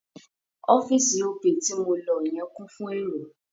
Ọ́fíì̀sì Opay ti mo lọ yẹn kún fún èrò..